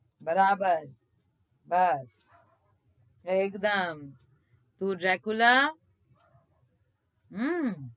બરાબર હા એક દમ તું જકુલા હમ